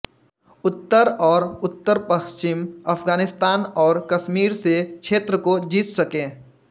उत्तर और उत्तर पश्चिम अफगानिस्तान और कश्मीर से क्षेत्र को जीत संके